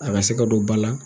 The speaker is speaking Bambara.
A bɛ se ka don ba la